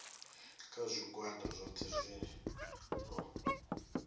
kha zwigwada zwohe zwi no